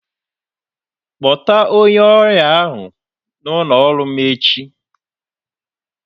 Kpọta onye ọrịa ahụ n'ụlọ ọrụ m echi!